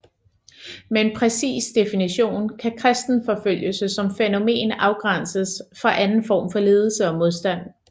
Med en præcis definition kan kristenforfølgelse som fænomen afgrænses fra anden form for lidelse og modstand